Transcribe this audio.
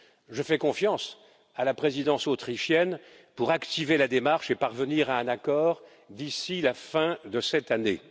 Je fais confiance à la présidence autrichienne pour activer la démarche et parvenir à un accord d'ici la fin de cette année.